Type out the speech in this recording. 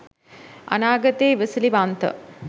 අනාගතයේ ඉවසිලිවන්ත